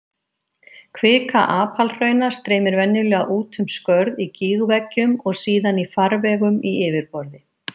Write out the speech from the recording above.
Kvika apalhrauna streymir venjulega út um skörð í gígveggjum og síðan í farvegum í yfirborði.